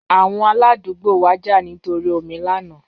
Awọn aladugbo wa ja nitori omi lana